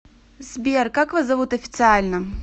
сбер как вас зовут официально